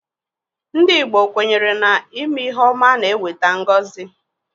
Ndị Igbo kwenyere na ime ihe ọma na-eweta ngozi.